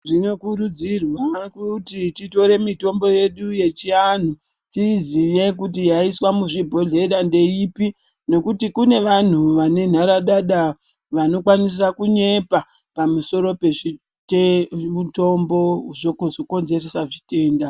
Zvinokurudzirwa kuti titore mitombo yedu yechianhu tiiziye kuti yaiswa muzvibhodhlera ndeipi nekuti kune vanhu vane nharadada vanokwanisa kunyepa pamusoro pemutombo zvokonzeresa zvitenda.